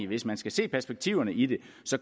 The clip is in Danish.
hvis man skal se perspektiverne i det